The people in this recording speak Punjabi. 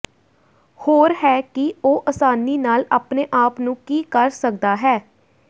ਹੋਰ ਹੈ ਕਿ ਉਹ ਆਸਾਨੀ ਨਾਲ ਆਪਣੇ ਆਪ ਨੂੰ ਕੀ ਕਰ ਸਕਦਾ ਹੈ